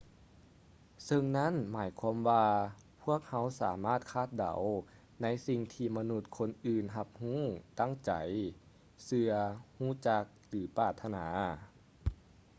ເຊິ່ງນັ້ນໝາຍຄວາມວ່າພວກເຮົາສາມາດຄາດເດົາໃນສິ່ງທີ່ມະນຸດຄົນອື່ນຮັບຮູ້ ຕັ້ງໃຈ ເຊື່ອ ຮູ້ຈັກ ຫຼື ປາດຖະໜາໄດ້